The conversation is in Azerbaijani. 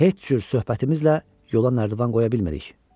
Heç cür söhbətimizlə yola nərdivan qoya bilmirik.